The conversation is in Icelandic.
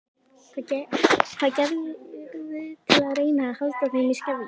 Hvað gerirðu til að reyna að halda þeim í skefjum?